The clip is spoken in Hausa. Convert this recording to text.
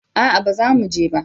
a'a ba za mu je ba